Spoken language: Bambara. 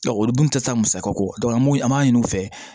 olu dun tɛ taa musakako an mun an b'a ɲini u fɛ